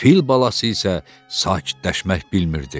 Fil balası isə sakitləşmək bilmirdi.